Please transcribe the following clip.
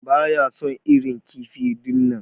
Baya son irin kifi dinnan.